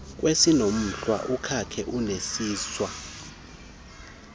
kwesiinomhlwa umkakhe uneziswa